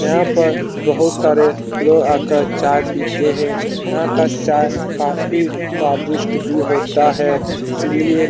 यहाँ पर बहुत सारे लोग आकर चाय पीते हैं यहाँ का चाय काफ़ी स्वादिष्ट भी होता है इसीलिए --